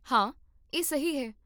ਹਾਂ, ਇਹ ਸਹੀ ਹੈ